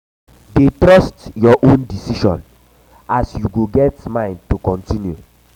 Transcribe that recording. dey trust yur yur own decision as yu go get mind to kontinu